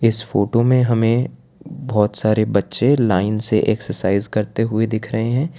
इस फोटो में हमें बहोत सारे बच्चे लाइन से एक्सरसाइज करते हुए दिख रहे हैं।